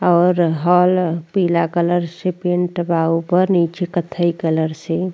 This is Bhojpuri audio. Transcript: और हल पीला कलर से पेंट बा ऊपर नीचे कत्थई कलर से।